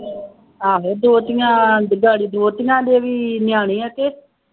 ਆਹੋ ਦੋਹਤੀਆਂ ਦੋਹਤੀਆਂ ਦੇ ਵੀ ਨਿਆਣੇ ਹੈ ਕਿ